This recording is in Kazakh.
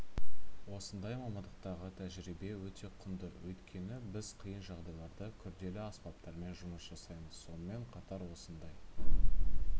осындай мамандықтағы тәжірибе өте құнды өйткені біз қиын жағдайларда күрделі аспаптармен жұмыс жасаймыз сонымен қатар осындай